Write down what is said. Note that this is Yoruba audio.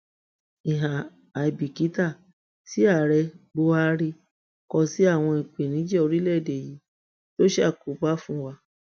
ìhà àìbìkítà tí ààrẹ buhari kọ sí àwọn ìpèníjà orílẹèdè yìí ló ń ṣàkóbá fún wa